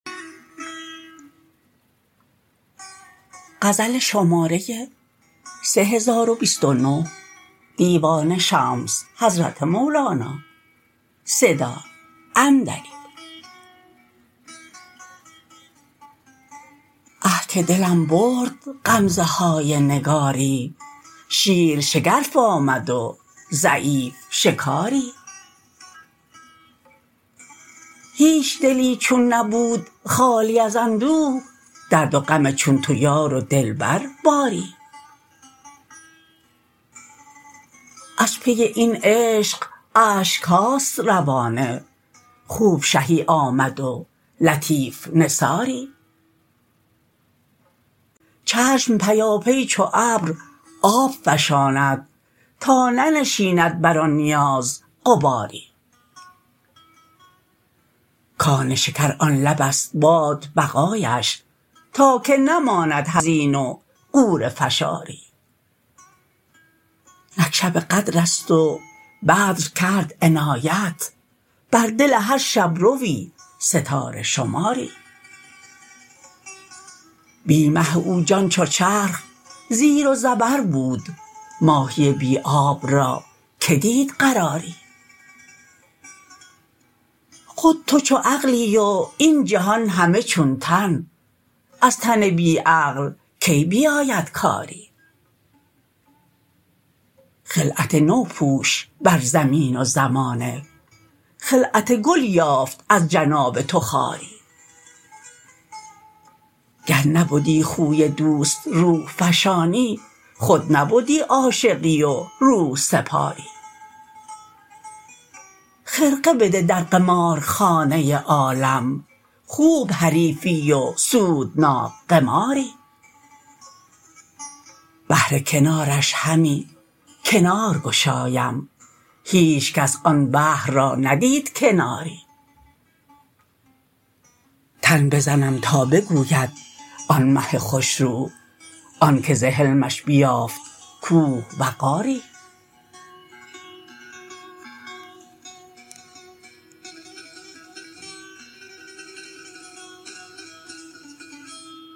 آه که دلم برد غمزه های نگاری شیر شگرف آمد و ضعیف شکاری هیچ دلی چون نبود خالی از اندوه درد و غم چون تو یار و دلبر باری از پی این عشق اشک هاست روانه خوب شهی آمد و لطیف نثاری چشم پیاپی چو ابر آب فشاند تا ننشیند بر آن نیاز غباری کان شکر آن لبست باد بقایش تا که نماند حزین و غوره فشاری نک شب قدرست و بدر کرد عنایت بر دل هر شب روی ستاره شماری بی مه او جان چو چرخ زیر و زبر بود ماهی بی آب را کی دید قراری خود تو چو عقلی و این جهان همه چون تن از تن بی عقل کی بیاید کاری خلعت نو پوش بر زمین و زمانه خلعت گل یافت از جناب تو خاری گر نبدی خوی دوست روح فشانی خود نبدی عاشقی و روح سپاری خرقه بده در قمارخانه عالم خوب حریفی و سودناک قماری بهر کنارش همی کنار گشایم هیچ کس آن بحر را ندید کناری تن بزنم تا بگوید آن مه خوش رو آنک ز حلمش بیافت کوه وقاری